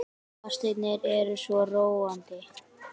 Fasteignir eru svo róandi.